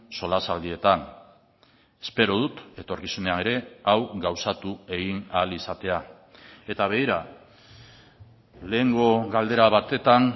solasaldietan espero dut etorkizunean ere hau gauzatu egin ahal izatea eta begira lehengo galdera batetan